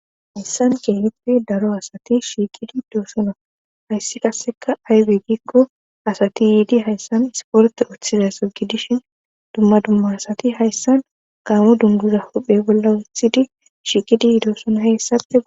Hayssan kehippe daro asati shiiqidi yidoosona hayssi qasseka aybe giikko asati yiidi hayssan isporte oththizaso gidishin dumma dumma asati hayssan gaamo dunduza huhphe bolla wuthidi shiqidi yiidosona heyssape.